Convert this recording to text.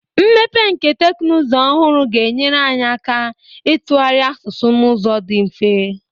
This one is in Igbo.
Mmepe nke teknụzụ ọhụrụ ga-enyere anyị aka ịtụgharị asụsụ n'ụzọ dị mfe.